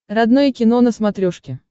родное кино на смотрешке